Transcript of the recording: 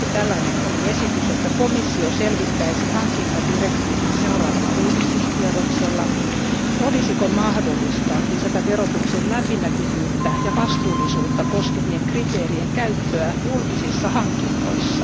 Yksi tällainen esitys oli, että komissio selvittäisi hankintadirektiivin seuraavalla uudistuskierroksella, olisiko mahdollista lisätä verotuksen läpinäkyvyyttä ja vastuullisuutta koskevien kriteerien käyttöä julkisissa hankinnoissa.